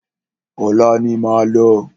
Ọ̀la ni máa lọ.